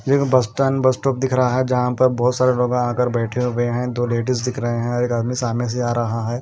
एक bus stand bus stop दिख रहा है जहां पर बहुत सारे लोगों आकर बैठे हुए हैं दो लेडिस दिख रहे हैं एक आदमी सामने से आ रहा है।